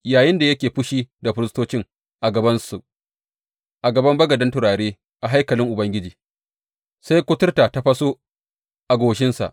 Yayinda yake fushi da firistocin a gabansu a gaban bagaden turare a haikalin Ubangiji, sai kuturta ta faso a goshinsa.